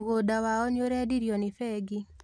Mũgũnda wao nĩũrendio nĩ bengi